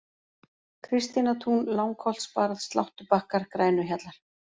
Kristínartún, Langholtsbarð, Sláttubakkar, Grænuhjallar